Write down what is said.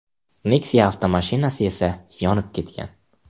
Nexia avtomashinasi esa yonib ketgan.